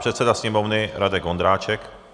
Předseda Sněmovny Radek Vondráček.